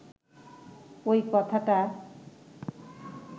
ঐ কথাটা